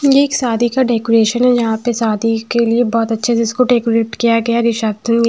ये एक शादी का डेकोरेशन है यहां पे शादी के लिए बहुत अच्छे से इसको डेकोरेट किया गया है रिसेप्शन --